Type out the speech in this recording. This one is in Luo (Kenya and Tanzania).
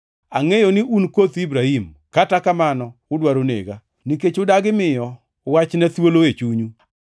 Angʼeyo ni un koth Ibrahim, kata kamano udwaro nega, nikech udagi miyo Wachna thuolo e chunyu.